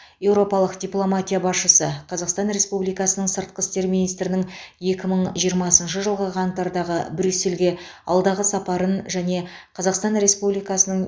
еуропалық дипломатия басшысы қазақстан республикасының сыртқы істер министрінің екі мың жиырмасыншы жылғы қаңтардағы брюссельге алдағы сапарын және қазақстан республикасының